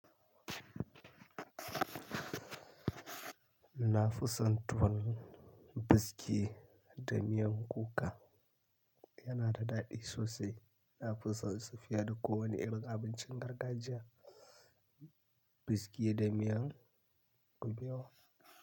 Na fi son tuwon biski da miyan kuka. Yana da daɗi sosai. Na fi son tafiya da kowane irin abincin gargajiya, biski da miyan kuɓewa.